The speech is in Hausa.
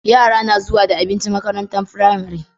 Yara na zuwa da abinci makarantar pramari